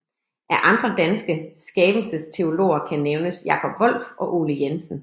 Af andre danske skabelsesteologer kan nævnes Jakob Wolf og Ole Jensen